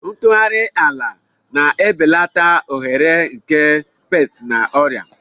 ntụgharị ala na-ebelata ohere nke pesti na ọrịa.